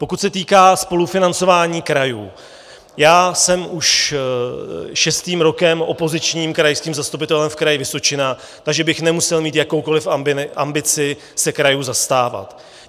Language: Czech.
Pokud se týká spolufinancování krajů, já jsem už šestým rokem opozičním krajským zastupitelem v Kraji Vysočina, takže bych nemusel mít jakoukoli ambici se krajů zastávat.